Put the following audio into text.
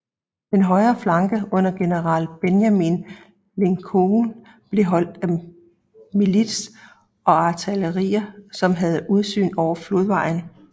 Den højre flanke under general Benjamin Lincoln blev holdt af milits og artilleri som havde udsyn over flodvejen